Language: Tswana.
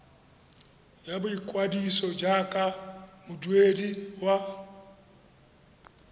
ya boikwadiso jaaka moduedi wa